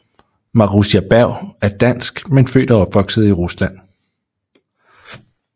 Marussia Bergh er Dansk men født og opvokset i Rusland